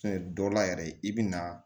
dɔ la yɛrɛ i bi na